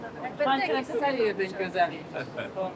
Və Xankəndə hər yer necə gözəldir?